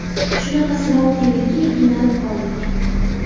Shunaqa sinov keldiki, qiynalib qoldik.